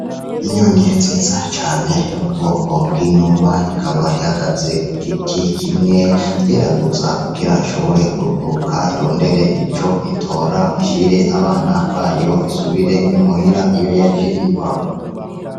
Inyoni nziza cane yo mu bwoko bw'inuma, ikaba ihagaze ku giti kimwe yeraguza kugira ishobore kuguruka irondera ico itora ishire abana bayo isubire i muhira iyo yaje iva.